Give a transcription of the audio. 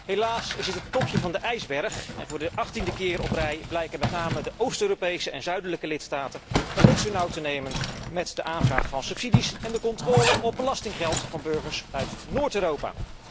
Helaas is dit het topje van de ijsberg en voor de achttiende keer op rij blijken met name de Oost Europese en zuidelijke lidstaten het niet zo nauw te nemen met de aanvraag van subsidies en de controle op belastinggeld van burgers uit Noord Europa.